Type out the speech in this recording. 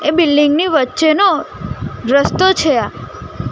એ building ની વચ્ચેનો રસ્તો છે આ.